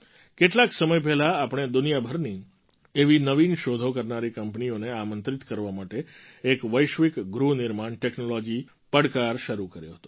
કેટલાક સમય પહેલાં આપણે દુનિયાભરની એવી નવીન શોધો કરનારી કંપનીઓને આમંત્રિત કરવા માટે એક વૈશ્વિક ગૃહ નિર્માણ ટૅક્નૉલૉજી પડકાર શરૂ કર્યો હતો